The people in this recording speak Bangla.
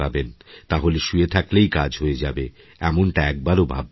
তাহলে শুয়ে থাকলেই কাজ হয়ে যাবে এমনটা একবারও ভাববেন না